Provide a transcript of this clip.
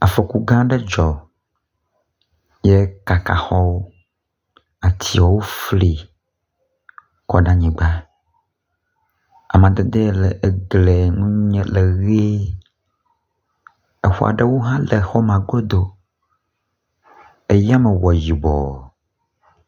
Afɔku gã aɖe dzɔ ye kaka xɔwo, atiewo fli kɔ ɖe anyigba. Amadede ye le eglie ŋu nye le ʋe, exɔ aɖewo hã le exɔ ma godo. Eyame wɔ yibɔ.